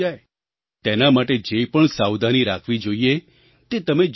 તેના માટે જે પણ સાવધાની રાખવી જોઈએ તે તમે જરૂર રાખજો